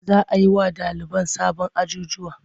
Za a yi wa ɗaliban sabon ajjujuwa.